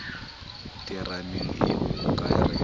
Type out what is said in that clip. terameng ee o ka re